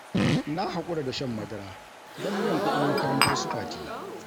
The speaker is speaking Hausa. Na hakura da shan madara don biyan kudin makarantar su Fati